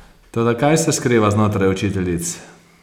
Toda kaj se skriva znotraj učiteljic?